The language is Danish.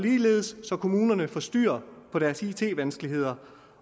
så kommunerne kan få styr på deres it vanskeligheder